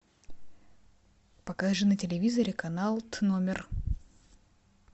покажи на телевизоре канал т номер